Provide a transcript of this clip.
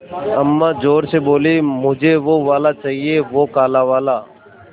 अम्मा ज़ोर से बोलीं मुझे वो वाला चाहिए वो काला वाला